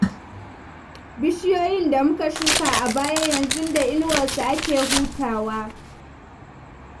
Bishiyoyin da muka shuka a baya, yanzu da inuwarsu ake hutawa.